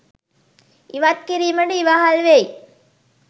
ඉවත් කිරීමට ඉවහල් වෙයි.